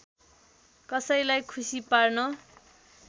कसैलाई खुसी पार्न